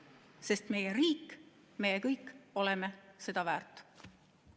Sest meie riik ja meie kõik oleme seda väärt.